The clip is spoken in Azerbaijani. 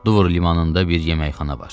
Dvor limanında bir yeməkxana var.